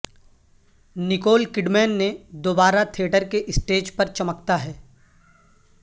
Nicole Kidman نے دوبارہ theatre کے اسٹیج پر چمکتا ہے